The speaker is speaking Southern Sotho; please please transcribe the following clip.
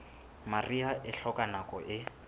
mariha e hloka nako e